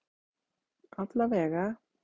Alla vega.